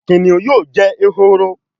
Kìnìún yóò jé ehoro